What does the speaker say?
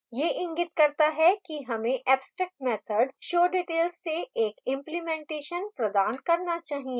यह इंगित करता है कि हमें abstract method showdetails से एक implementation प्रदान करना चाहिए